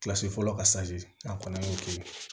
Kilasi fɔlɔ ka an kɔni y'o kɛ